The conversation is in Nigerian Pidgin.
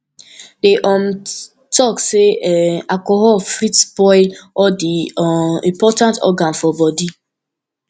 dem um talk sey um alcohol fit spoil all di um important organ for bodi